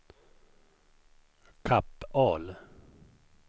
Kapp-Ahl